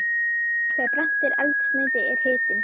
Þegar brennt er eldsneyti er hitinn